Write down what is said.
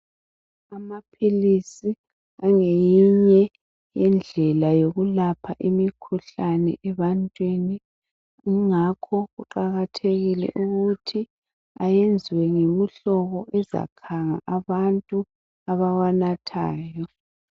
Amaphilisi angeyinye indlela yokulapha imikhuhlane ebantwini kungakho kuqakathekile ukuthi ayenziwe ngobuhlobo obuzakhanga abantu abawanathayo.